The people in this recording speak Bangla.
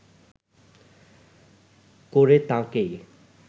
করে তাঁকেই